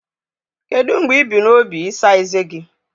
Kedu mgbe ị bu n'obi ịsa ezé gị?